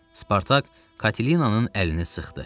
Spartak Katinanın əlini sıxdı.